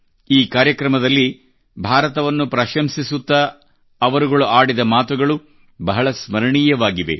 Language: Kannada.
ಈ ಕಾರ್ಯಕ್ರಮದಲ್ಲಿ ಭಾರತವನ್ನು ಪ್ರಶಂಸಿಸುತ್ತಾ ಆಡಿದ ಮಾತುಗಳು ಬಹಳ ಸ್ಮರಣೀಯವಾಗಿವೆ